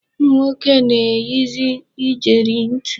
Ụmụnwoke na-eyizi ijeri ntị.